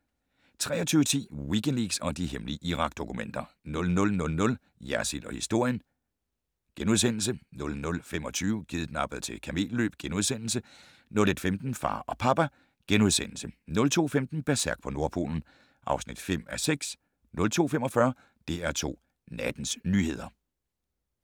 23:10: Wikileaks og de hemmelige Irak-dokumenter 00:00: Jersild & historien * 00:25: Kidnappet til kamelløb * 01:15: Far og papa * 02:15: Berserk på Nordpolen (5:6) 02:45: DR2 Nattens nyheder